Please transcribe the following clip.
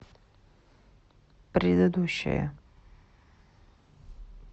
предыдущая